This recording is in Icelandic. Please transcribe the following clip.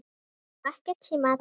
Og ekkert símaat.